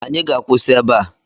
Anyị ga-akwụsị ebe a